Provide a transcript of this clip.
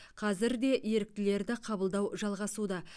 қазір де еріктілерді қабылдау жалғасуда